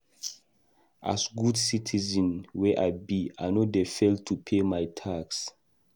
As good citizen wey I be, I no dey fail to pay my tax.